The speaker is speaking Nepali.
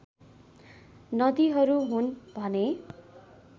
नदीहरू हुन् भने